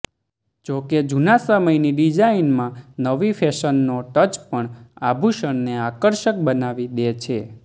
જોકે જૂના સમયની ડિઝાઇનમાં નવી ફેશનનો ટચ પણ આભૂષણને આકર્ષક બનાવી દે છે